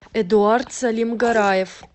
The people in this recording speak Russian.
эдуард салимгараев